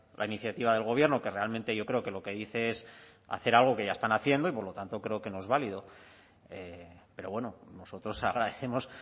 la iniciativa del gobierno que realmente yo creo que lo que dice es hacer algo que ya están haciendo y por lo tanto creo que no es válido pero bueno nosotros agradecemos